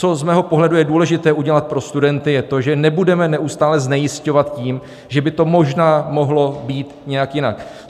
Co z mého pohledu je důležité udělat pro studenty, je to, že nebudeme neustále znejisťovat tím, že by to možná mohlo být nějak jinak.